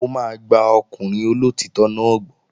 Mò máa gba ọkùnrin olóòtítọ́ náà gbọ́